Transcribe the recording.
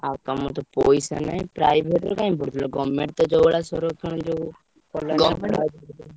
ଆଉ ତମର ତ ପଇସା ନାହିଁ private ରେ କାଇଁ ପଢୁଥିଲ government ତ ଯୋଉ ଭଳିଆ ଯୋଉ